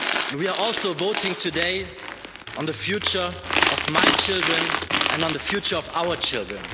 We are also voting today on the future of my children and on the future of our children.